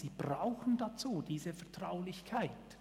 Sie brauchen dazu diese Vertraulichkeit.